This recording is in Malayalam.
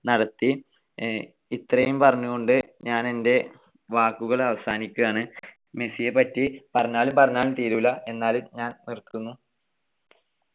നടത്തി. ഇത്രയും പറഞ്ഞുകൊണ്ട് ഞാൻ എൻ്റെ വാക്കുകൾ അവസാനിപ്പിക്കുകയാണ്. മെസ്സിയെ പറ്റി പറഞ്ഞാലും പറഞ്ഞാലും തീരൂല്ല. എന്നാലും ഞാൻ നിർത്തുന്നു.